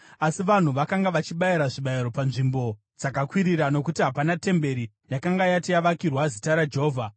Asi, vanhu vakanga vachibayira zvibayiro panzvimbo dzakakwirira nokuti hapana temberi yakanga yati yavakirwa zita raJehovha.